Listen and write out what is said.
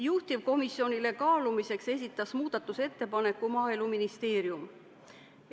Juhtivkomisjonile kaalumiseks esitas muudatusettepaneku Maaeluministeerium.